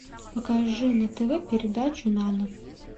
покажи на тв передачу нано